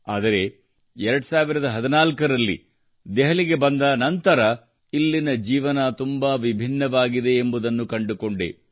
ಆದರೆ 2014ರಲ್ಲಿ ದೆಹಲಿಗೆ ಬಂದ ನಂತರ ಇಲ್ಲಿನ ಜೀವನ ತುಂಬಾ ವಿಭಿನ್ನವಾಗಿದೆ ಎಂಬುದನ್ನು ಕಂಡುಕೊಂಡೆ